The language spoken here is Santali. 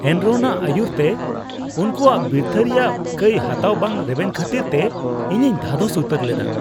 ᱮᱱᱨᱚᱱᱟᱜ ᱟᱹᱭᱩᱨᱛᱮ ᱩᱱᱠᱩᱣᱟᱜ ᱵᱤᱨᱛᱷᱟᱹ ᱨᱮᱭᱟᱜ ᱠᱟᱹᱭ ᱦᱟᱛᱟᱣ ᱵᱟᱝ ᱨᱮᱵᱮᱱ ᱠᱷᱟᱹᱛᱤᱨ ᱛᱮ ᱤᱧᱤᱧ ᱫᱷᱟᱫᱚᱥ ᱩᱛᱟᱹᱨ ᱞᱮᱱᱟ ᱾